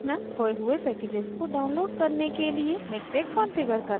खोये हुए packages को download करने के लिए miktex configure करना